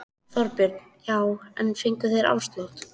Þorbjörn: Já en fengu þeir afslátt?